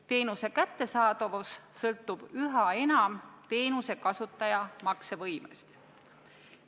Teenuse kättesaadavus sõltub üha enam teenuse kasutaja maksevõimest.